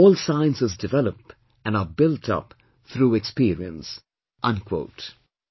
All Sciences develop and are built up through experience"